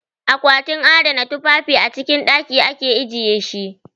A kwatin adana tufafi a cikin ɗaki ake ajiye shi.